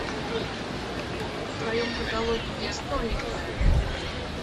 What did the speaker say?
в твоем каталоге есть новенькая